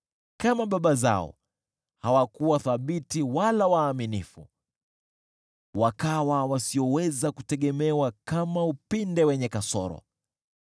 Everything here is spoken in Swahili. Kama baba zao, hawakuwa thabiti wala waaminifu, wakawa wasioweza kutegemewa kama upinde wenye kasoro.